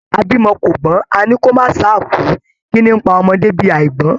A bímọ kò gbọn, a ní kò má ṣáà kú, kínní n pa ọmọdé bí àígbọ́n.